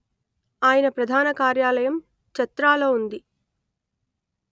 ఆయన ప్రధాన కార్యాలయం చత్రాలో ఉంది